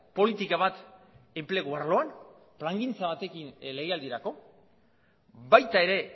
politika bat enplegu arloan plangintza batekin legealdirako baita ere